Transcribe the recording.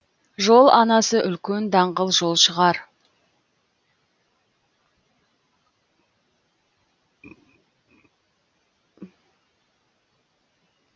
жол анасы үлкен даңғыл жол шығар